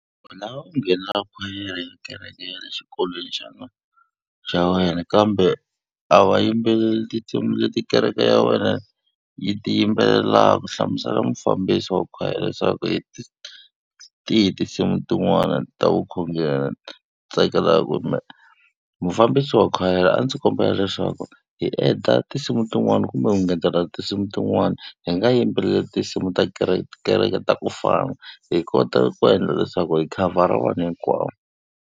Wena u nghenela khwayere ya kereke ya le xikolweni xa wena kambe a va yimbeleli tinsimu leti kereke ya wena yi ti yimbelelaka, hlamusela mufambisi wa khwayere leswaku hi tihi tinsimu tin'wana ta vukhongeri u tsakelaka kumbe mufambisi wa khwayere a ndzi kombela leswaku hi endla tinsimu tin'wani kumbe ku ngetela tinsimu tin'wani hi nga yimbeleli tinsimu ta kereke, ti kereke ta kufana hi kota ku endla leswaku hi khavhara vanhu hinkwavo.